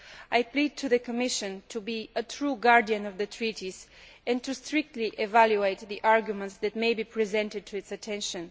I plead to the Commisison to be a true guardian of the treaties and to strictly evaluate the arguments that may be presented for its attention.